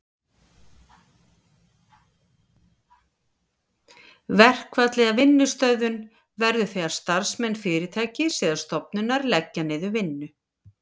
Verkfall eða vinnustöðvun verður þegar starfsmenn fyrirtækis eða stofnunar leggja niður vinnu.